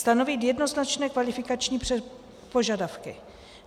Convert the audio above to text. Stanovit jednoznačné kvalifikační požadavky.